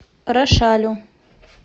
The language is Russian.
рошалю